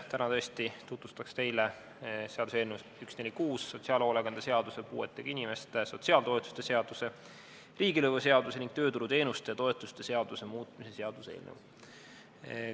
Täna tõesti tutvustaks teile seaduseelnõu 146, sotsiaalhoolekande seaduse, puuetega inimeste sotsiaaltoetuste seaduse, riigilõivuseaduse ning tööturuteenuste ja -toetuste seaduse muutmise seaduse eelnõu.